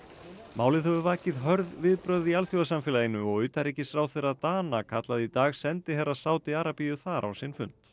málið hefur vakið hörð viðbrögð í alþjóðasamfélaginu og utanríkisráðherra Dana kallaði í dag sendiherra Sádi Arabíu þar á sinn fund